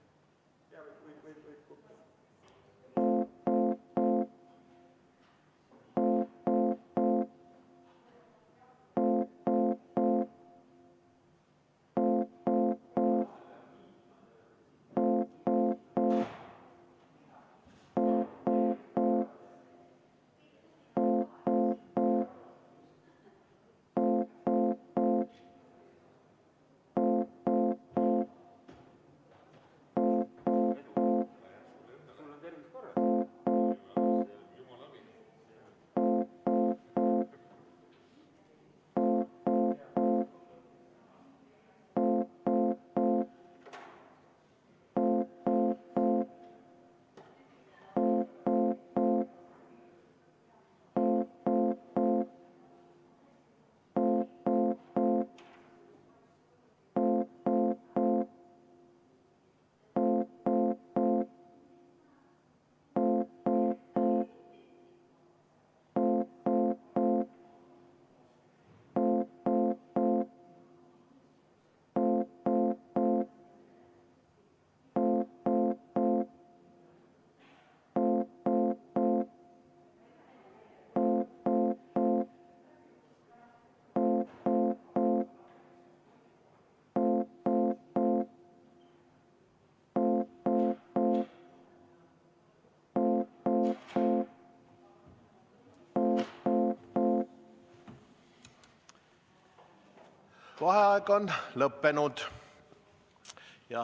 Vaheaeg on lõppenud.